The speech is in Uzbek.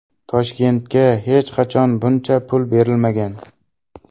Toshkentga hech qachon buncha pul berilmagan.